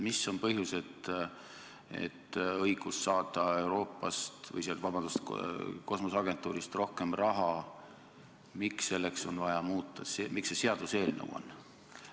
Mis on põhjus, et õiguse jaoks saada kosmoseagentuurist rohkem raha on vaja seaduseelnõu?